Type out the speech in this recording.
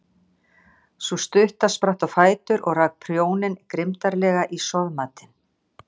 Sú stutta spratt á fætur og rak prjóninn grimmdarlega í soðmatinn.